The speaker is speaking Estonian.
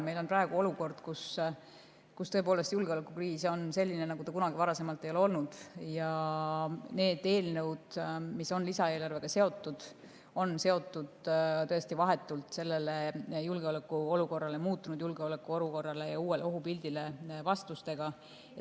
Meil on praegu olukord, kus julgeolekukriis on selline, nagu ta kunagi varem ei ole olnud, ja need eelnõud, mis on lisaeelarvega seotud, on seotud tõesti vahetult sellele muutunud julgeolekuolukorrale ja uuele ohupildile vastamisega.